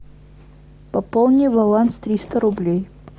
пополни баланс триста рублей